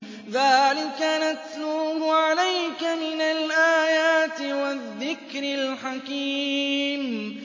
ذَٰلِكَ نَتْلُوهُ عَلَيْكَ مِنَ الْآيَاتِ وَالذِّكْرِ الْحَكِيمِ